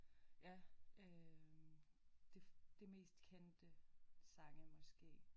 Ja øh det det mest kendte sange måske